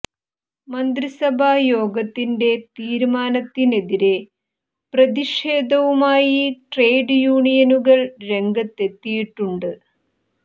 മന്ത്രിസഭാ യോഗത്തിന്റെ തീരുമാനത്തിനെതിരെ പ്രതിഷേധവുമായി ട്രേഡ് യൂണിയനുകൾ രംഗത്ത് എത്തിയിട്ടുണ്ട്